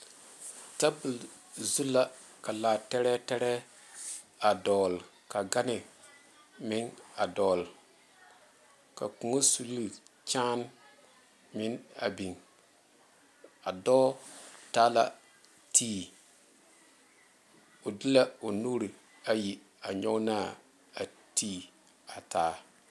Tabol zu la ka laa tɛɛrɛtɛɛrɛ a dogle ka gane meŋ a dogle ka kõɔ suree kyaane meŋ a biŋ a dɔɔ taa la ti o de la o nuure ayi a nyoŋ naa ti a taa.